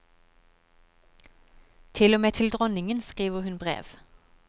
Til og med til dronningen skriver hun brev.